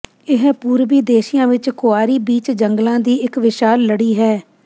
ਇਹ ਪੂਰਬੀ ਏਸ਼ੀਆ ਵਿਚ ਕੁਆਰੀ ਬੀਚ ਜੰਗਲਾਂ ਦੀ ਇੱਕ ਵਿਸ਼ਾਲ ਲੜੀ ਹੈ